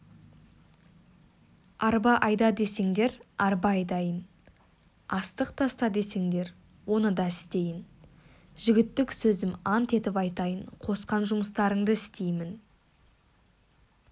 арба айда десеңдер арба айдайын астық таста десеңдер оны да істейін жігіттік сөзім ант етіп айтайын қосқан жұмыстарыңды істеймін